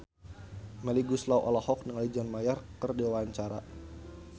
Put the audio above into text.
Melly Goeslaw olohok ningali John Mayer keur diwawancara